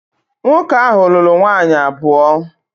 Nwoke ahu lulu nwaanyi abuo